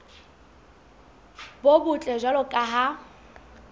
bo botle jwalo ka ha